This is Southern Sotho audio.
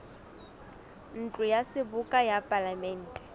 ntlo ya seboka ya palamente